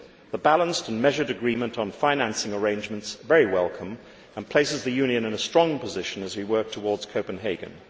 The balanced and measured agreement on financing arrangements is very welcome and places the Union in a strong position as we work towards Copenhagen.